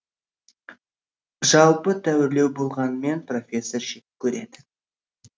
жалпы тәуірлеу болғанымен профессор жек көреді